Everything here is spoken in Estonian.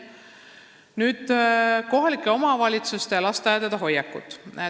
Nüüd kohalike omavalitsuste ja lasteaedade hoiakutest.